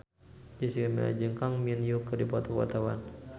Jessica Milla jeung Kang Min Hyuk keur dipoto ku wartawan